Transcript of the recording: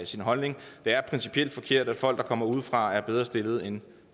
sin holdning det er principielt forkert at folk der kommer udefra er bedre stillet end